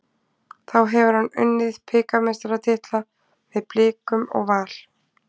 Þá hefur hann unnið bikarmeistaratitla með Blikum og Val.